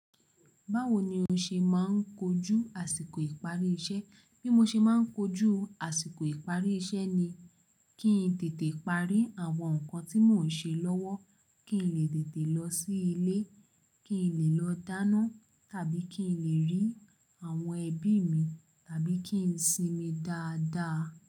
Báwo ni o ṣe máa ń kojú àsìkò ìparí iṣẹ́? Bí mo ṣe má ń kojú àsìkò ìparí iṣẹ́ ni kí n tètè parí àwọn nǹkan tí mò ń ṣe lọ́wọ́. Kí n lè tètè lọ sí ilé, kí n lè lọ dáná tàbí kí n lè rí àwọn ẹbí mi, tàbí kí n sinmi dáadáa.